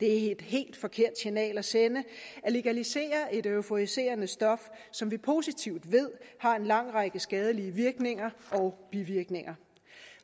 det er et helt forkert signal at sende at legalisere et euforiserende stof som vi positivt ved har en lang række skadelige virkninger og bivirkninger